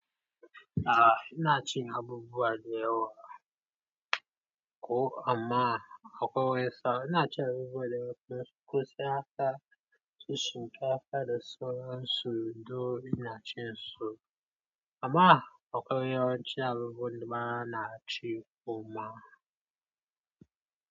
A ina cin abubuwa da yawa ko amma akwai wani sa'a ina ci abubuwa da yawa don suskunyar da ka ci shinkafa da sauran su, duk ina cin su amma akwai wani yawanci abubuwan da bana ci kuma.